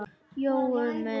Jói minn.